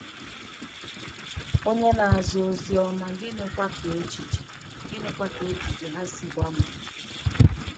Ònye na-aza Ozi Ọma, gịnịkwa ka echiche gịnịkwa ka echiche ha si gbanwee?